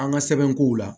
An ka sɛbɛnkow la